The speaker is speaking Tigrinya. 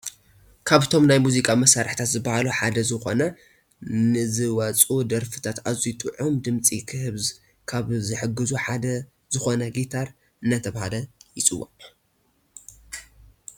ካብ እቶም ናይ ሙዚቀዘ መሳርሕታት ዝብሃሉ ሓደ ዝኮነ ንዝወፁ ደርፍታት ኣዝዩ ጥዑም ድምፂ ክህልዎ ካብ ዝሕግዙ ሓደ ዝኮነ ጊታር ኣናተባህለ ይፅዋዕ።